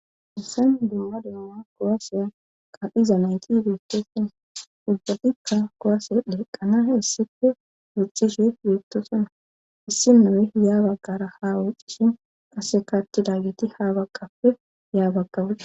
Haysan duuma duuna kuwasiya ka'iza nayti beettessina ubbatikka kowase dhiqqana issippe woxishe beettosona issi nome yaa baggara ha woxishen qase attidageti ha bagqappe yaa baga woxetes